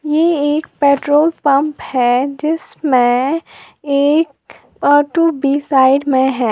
ए एक petrol pump है जिसमें एक ओटो भी साइड में है।